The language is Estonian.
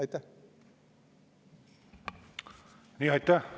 Aitäh!